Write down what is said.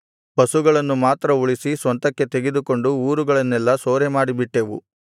ಪಶುಗಳನ್ನು ಮಾತ್ರ ಉಳಿಸಿ ಸ್ವಂತಕ್ಕೆ ತೆಗೆದುಕೊಂಡು ಊರುಗಳನ್ನೆಲ್ಲಾ ಸೂರೆಮಾಡಿಬಿಟ್ಟೆವು